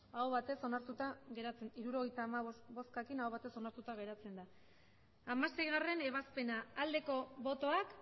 emandako botoak hirurogeita hamabost bai hirurogeita hamabost aho batez hirurogeita hamabost boskekin onartuta geratzen da hamaseigarrena ebazpena aldeko botoak